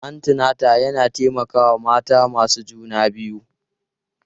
Antinata yana taimakawa mata masu juna biyu.